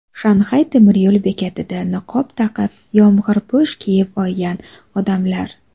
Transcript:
Shanxay temiryo‘l bekatida niqob taqib, yomg‘irpo‘sh kiyib olgan odamlar.